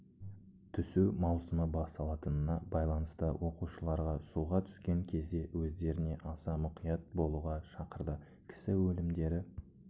түсу маусымы басталатынына байланысты оқушыларға суға түскен кезде өздеріне аса мұқият болуға шақырды кісі өлімдері